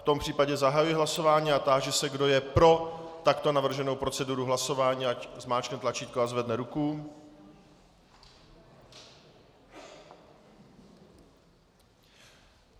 V tom případě zahajuji hlasování a táži se, kdo je pro takto navrženou proceduru hlasování, ať zmáčkne tlačítko a zvedne ruku.